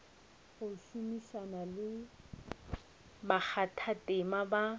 go šomišana le bakgathatema ba